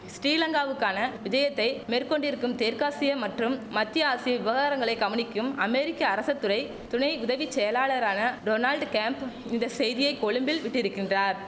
ஸ்ரீலங்காவுக்கான விஜயத்தை மேற்கொண்டிருக்கும் தெற்காசிய மற்றும் மத்திய ஆசிய விவகாரங்களை கவனிக்கும் அமெரிக்க அரச துறை துணை உதவி செயலாளரான டொனால்ட் கேம்ப் இந்த செய்தியை கொழும்பில் விட்டிருக்கின்றார்